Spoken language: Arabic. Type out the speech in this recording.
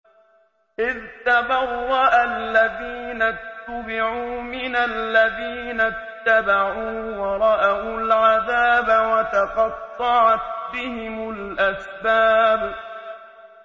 إِذْ تَبَرَّأَ الَّذِينَ اتُّبِعُوا مِنَ الَّذِينَ اتَّبَعُوا وَرَأَوُا الْعَذَابَ وَتَقَطَّعَتْ بِهِمُ الْأَسْبَابُ